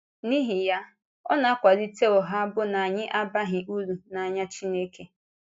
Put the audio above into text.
N’ihi ya, ọ na-akwálite ụgha bụ́ na anyị abaghị uru n’anya Chineke.